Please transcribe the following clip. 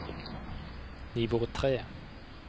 nivå tre